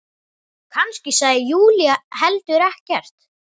Kannski sagði Júlía heldur ekkert.